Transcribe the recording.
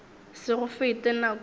se go fete nako ye